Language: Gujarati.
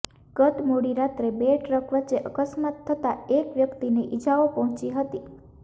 ગત મોડી રાત્રે બે ટ્રક વચ્ચે અકસ્માત થતા એક વ્યક્તિને ઈજાઓ પહોંચી હતી